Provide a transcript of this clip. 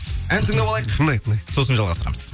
ән тыңдап алайық тыңдайық тыңдайық сосын жалғастырамыз